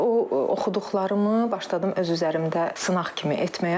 Və o oxuduqlarımı başladım öz üzərimdə sınaq kimi etməyə.